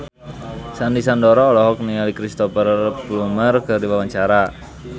Sandy Sandoro olohok ningali Cristhoper Plumer keur diwawancara